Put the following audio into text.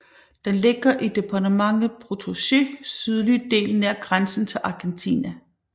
Den ligger i departementet Potosís sydlige del nær grænsen til Argentina